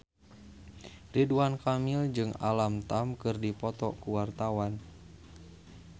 Ridwan Kamil jeung Alam Tam keur dipoto ku wartawan